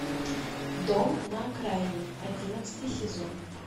дом на окраине одиннадцатый сезон